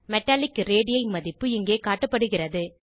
metallic ரேடி மதிப்பு இங்கே காட்டப்படுகிறது